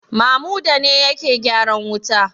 Mamuda ne yake gyaran wuta?